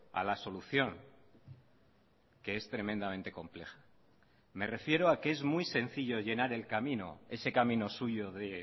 a la solución que es tremendamente compleja me refiero a que es muy sencillo llenar el camino ese camino suyo de